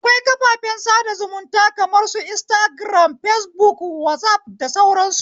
Akwai kafafen sada zumunta kamar su instagiram, fesbuk, wazaf da sauran su.